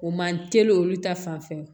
O man teli olu ta fanfɛ